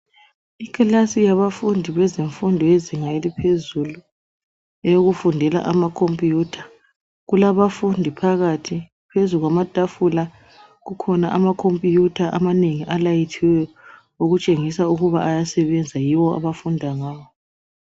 Iklasi yabafundi bezemfundo yezinga eliphezulu eyokufundela ama computer , kulabafundi phakathi phezu kwamatafula kukhona ama computer amanengi alayithiweyo okutshengisa ukuba ayasebenza yiwo abafunda ngawo